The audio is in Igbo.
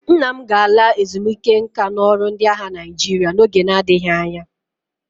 Nna m ga-ala ezumike nka n'ọrụ ndị agha Naịjirịa n'oge na-adịghị anya